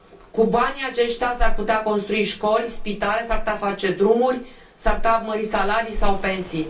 Cu banii aceștia s ar putea construi școli, spitale, s ar putea face drumuri, s ar putea mări salarii sau pensii.